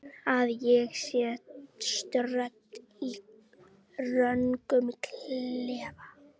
Að ég sé stödd í röngum klefa?